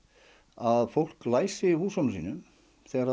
að fólk læsi húsunum sínum þegar